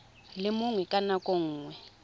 le mongwe ka nako nngwe